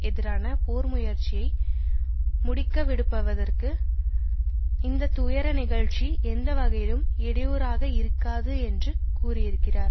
எதிரான போர் முயற்சியை முடிக்கிவிடப்படுவதற்கு இந்த துயர நிகழ்ச்சி எந்த வகையிலும் இடையூறாகயிருக்காது என்று கூறியிருக்கிறார்